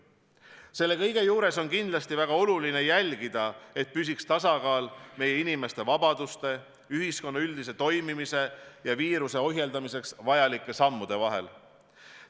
Selle kõige juures on kindlasti väga oluline jälgida, et püsiks tasakaal meie inimeste vabaduste, ühiskonna üldise toimimise ja viiruse ohjeldamiseks vajalike sammude vahel.